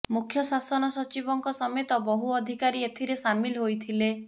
ମୁଖ୍ୟ ଶାସନ ସଚିବଙ୍କ ସମେତ ବହୁ ଅଧିକାରୀ ଏଥିରେ ସାମିଲ ହୋଇଥିଲେ